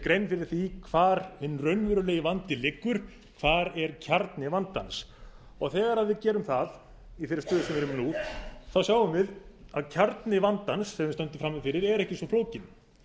grein fyrir því hvar hinn raunverulegi vandi liggur hvar er kjarni vandans þegar við gerum það í þeirri stöðu sem við erum nú sjáum við að kjarni vandans sem við stöndum frammi fyrir er ekki svo flókinn